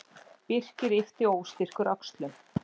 Birkir yppti óstyrkur öxlum.